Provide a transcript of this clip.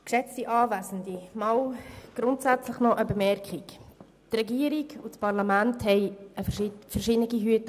Eine grundsätzliche Bemerkung: Die Regierung und das Parlament tragen verschiedene Hüte.